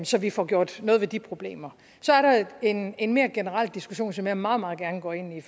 så vi får gjort noget ved de problemer så er der en en mere generel diskussion som jeg meget meget gerne går ind i